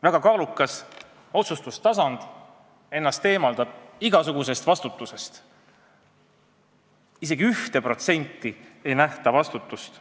Väga kaalukas otsustustasand eemaldab ennast igasugusest vastutusest, isegi 1% ulatuses ei nähta vastutust.